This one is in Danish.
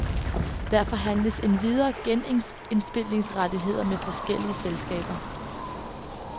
Der forhandles endvidere genindspilningsrettigheder med forskellige selskaber.